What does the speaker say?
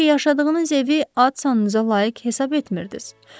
Çünki yaşadığınız evi ad-sanınıza layiq hesab etmirdiz.